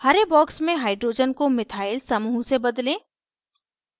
हरे box में hydrogen को methyl समूह से बदलें